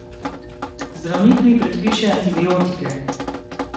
Zdravnik mi predpiše antibiotike.